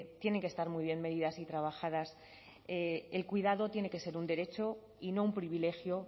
tienen que estar muy bien medidas y trabajadas el cuidado tiene que ser un derecho y no un privilegio